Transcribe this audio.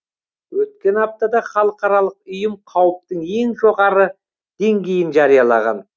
өткен аптада халықаралық ұйым қауіптің ең жоғары деңгейін жариялаған